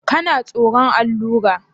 Kana tsoron allura?